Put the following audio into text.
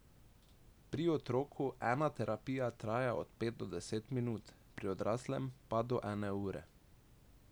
Pri otroku ena terapija traja od pet do deset minut, pri odraslem pa do ene ure.